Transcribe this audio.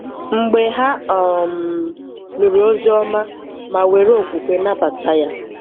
Mgbe ha um nụrụ Oziọma ma were okwukwe nabata ya.